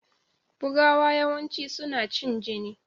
Bugawa yawanci suna cin jini.